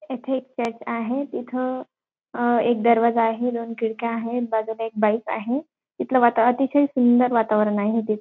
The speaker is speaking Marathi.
इथे एक कॅट आहे इथं अं एक दरवाजा आहे दोन खिडक्या आहेत बाजूला एक बाईक आहे इथलं वाताव अतिशय सुंदर वातावरण आहे इथे.